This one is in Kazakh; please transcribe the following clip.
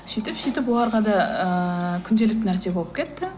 сөйтіп сөйтіп оларға да ыыы күнделікті нәрсе болып кетті